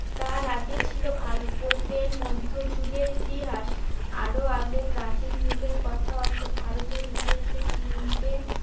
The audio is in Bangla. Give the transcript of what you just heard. তার আগে ছিল ভারতের মধ্যযুগের ইতিহাস। আরো আগে প্রাচীন যুগের কথা অর্থাৎ ভারতের ইতিহাসের তিনটে